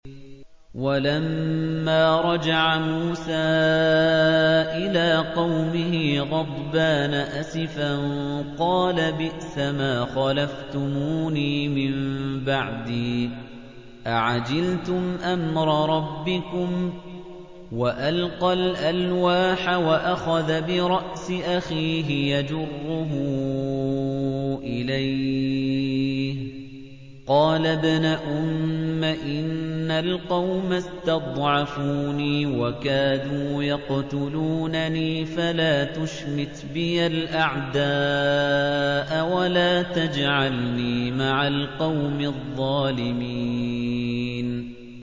وَلَمَّا رَجَعَ مُوسَىٰ إِلَىٰ قَوْمِهِ غَضْبَانَ أَسِفًا قَالَ بِئْسَمَا خَلَفْتُمُونِي مِن بَعْدِي ۖ أَعَجِلْتُمْ أَمْرَ رَبِّكُمْ ۖ وَأَلْقَى الْأَلْوَاحَ وَأَخَذَ بِرَأْسِ أَخِيهِ يَجُرُّهُ إِلَيْهِ ۚ قَالَ ابْنَ أُمَّ إِنَّ الْقَوْمَ اسْتَضْعَفُونِي وَكَادُوا يَقْتُلُونَنِي فَلَا تُشْمِتْ بِيَ الْأَعْدَاءَ وَلَا تَجْعَلْنِي مَعَ الْقَوْمِ الظَّالِمِينَ